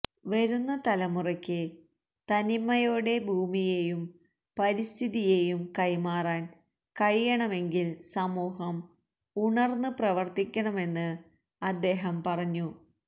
വരുന്ന തലമുറക്ക് തനിമയോടെ ഭൂമിയേയും പരിസ്ഥിതിയേയും കൈമാറാന് കഴിയണമെങ്കില് സമൂഹം ഉണര്ന്ന് പ്രവര്ത്തിക്കണമെന്ന് അദ്ദേഹംം പറഞ്ഞു